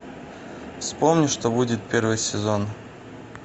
вспомни что будет первый сезон